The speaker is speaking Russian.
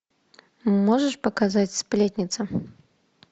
можешь показать сплетница